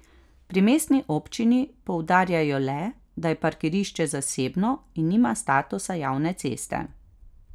Pri mestni občini poudarjajo le, da je parkirišče zasebno in nima statusa javne ceste.